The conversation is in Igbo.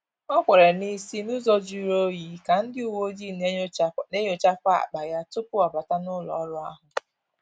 Ọ kwere n'isi n’ụzọ juru onyi ka ndị uweojii na-enyochakwa akpa ya tupu ọ bata n’ụlọ ọrụ ahụ